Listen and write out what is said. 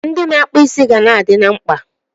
Ndị na-akpụ isi ga na-adị na mkpa.